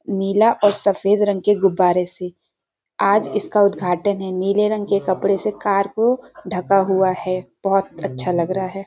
नीला और सफेद रंग की गुब्बारे से आज इसका उद्घाटन है नीले रंग के कपड़े से कार को ढका हुआ है बहुत अच्छा लग रहा है।